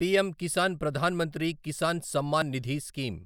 PM Kisan Pradhan Mantri Kisan Samman Nidhi scheme